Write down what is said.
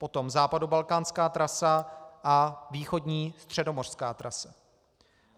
Potom západobalkánská trasa a východní středomořská trasa.